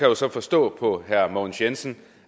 jo så forstå på herre mogens jensen